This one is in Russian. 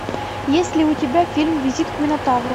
есть ли у тебя фильм визит к минотавру